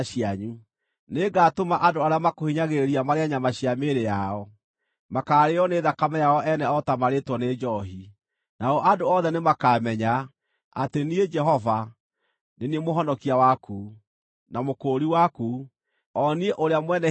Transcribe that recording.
Nĩngatũma andũ arĩa makũhinyagĩrĩria marĩe nyama cia mĩĩrĩ yao; makaarĩĩo nĩ thakame yao ene o ta marĩĩtwo nĩ njoohi. Nao andũ othe nĩmakamenya, atĩ niĩ, Jehova, nĩ niĩ Mũhonokia waku, na Mũkũũri waku, o niĩ Ũrĩa Mwene-Hinya wa Jakubu.”